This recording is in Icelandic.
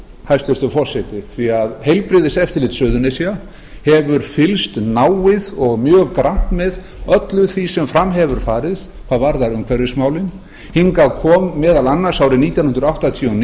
hæstvirtur forseti því að heilbrigðiseftirlit suðurnesja hefur fylgst náið og mjög grannt með öllu því sem fram hefur farið hvað varðar umhverfismálin hingað kom meðal annars árið nítján hundruð áttatíu